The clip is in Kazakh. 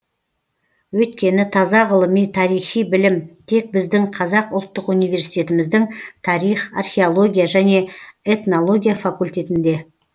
өйткені таза ғылыми тарихи білім тек біздің қазақ ұлттық университетіміздің тарих археология және этнология факультетінде